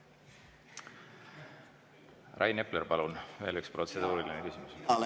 Rain Epler, palun, veel üks protseduuriline küsimus!